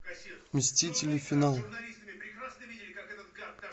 мстители финал